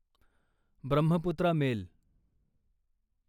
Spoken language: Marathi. ब्रह्मपुत्रा मेल